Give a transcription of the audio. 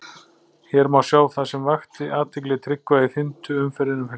Hér má sjá það sem vakti athygli Tryggva í fimmtu umferðinni um helgina.